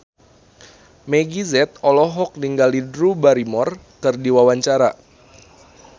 Meggie Z olohok ningali Drew Barrymore keur diwawancara